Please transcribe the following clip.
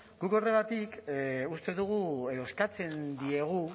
guk horregatik uste dugu edo eskatzen diegu